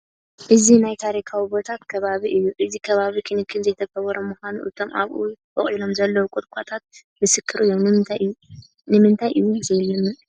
እዚ ናይ ታሪካዊ ቦታ ከባቢ እዩ፡፡ እዚ ከባቢ ክንክን ዘይተገበሮ ምዃኑ እቶም ኣብኡ ቦቒሎም ዘለዉ ቁጥቋጦታት ምስክር እዮም፡፡ ንምንታይ እዩ ዘይለምዕ?